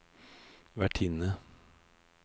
vertinne